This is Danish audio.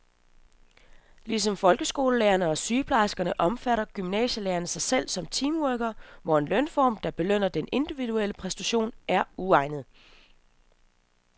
Ligesom folkeskolelærerne og sygeplejerskerne opfatter gymnasielærerne sig selv som teamworkere, hvor en lønform, der belønner den individuelle præstation, er uegnet.